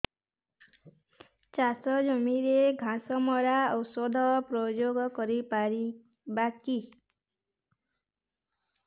ଚାଷ ଜମିରେ ଘାସ ମରା ଔଷଧ ପ୍ରୟୋଗ କରି ପାରିବା କି